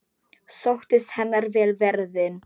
Sóttist henni vel ferðin.